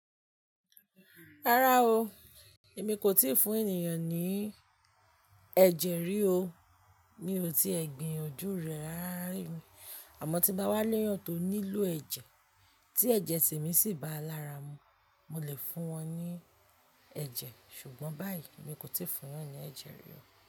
Rárá o, èmi kò tíì fún ènìyàn ní ẹ̀jẹ̀ rí o. Mi ò tíẹ̀ gbiyanjú rẹ́ ràrá rín o, àmọ́ tí n bá wá lẹ́yàn tó nílò ẹ̀jẹ̀ tí ẹ̀jẹ̀ sè mí sì bá lára mu, mo lè fún wọn ní ẹ̀jẹ̀. Ṣùgbọ́n báyìí, èmi kò tíì fún ènìyàn ní ẹ̀jẹ̀ rí o.